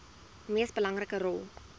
mees belangrike rol